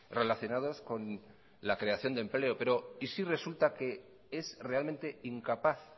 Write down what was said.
relacionados con la creación de empleo pero y si resulta que es realmente incapaz